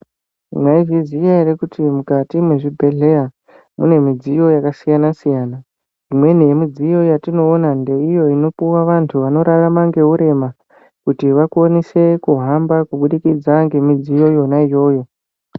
Mwaizviziya ere kuti mukati mwezvibhehleya mune midziyo yakasiyana-siyana. Imweni yemidziyo yatinoona ndeiyo inopuwa vantu vanorarama ngeurema kuti vakwanise kuhamba kubudikidza ngemidziyo yona iyoyo.